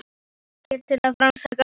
Það var ekkert til að rannsaka.